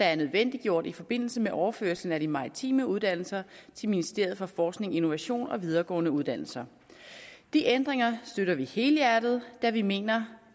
er nødvendiggjort i forbindelse med overførslen af de maritime uddannelser til ministeriet for forskning innovation og videregående uddannelser de ændringer støtter vi helhjertet da vi mener